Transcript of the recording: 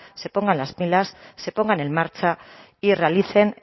se pongan las pilas se pongan en marcha y realicen